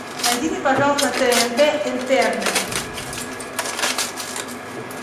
найди мне пожалуйста на тнт интерны